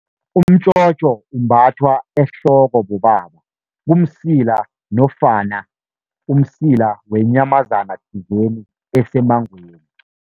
Umtjhotjho umbathwa ehloko bobaba, kumsila nofana umsila wenyamazana thizeni esemangweni.